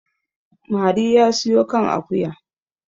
mari ya siyo kan akuya